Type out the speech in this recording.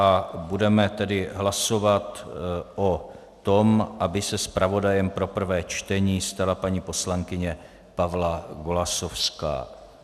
A budeme tedy hlasovat o tom, aby se zpravodajem pro prvé čtení stala paní poslankyně Pavla Golasowská.